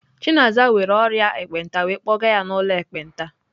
Chinaza nwere ọrịa ekpenta wee kpọga ya n'ụlọ ekpenta.